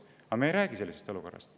Aga me ei räägi sellisest olukorrast.